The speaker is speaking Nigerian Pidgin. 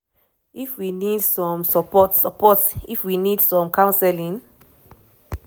if we need some support support and if we need some counselling?"